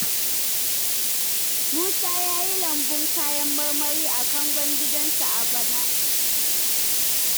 Musa ya yi lambun kayan marmari a kangon gidansa a bana.